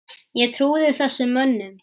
Ég trúði þessum mönnum.